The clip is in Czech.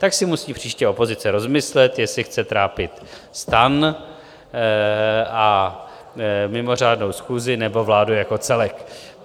Tak si musí příště opozice rozmyslet, jestli chce trápit STAN a mimořádnou schůzi, nebo vládu jako celek.